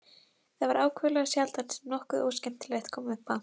Það var ákaflega sjaldan sem nokkuð óskemmtilegt kom upp á.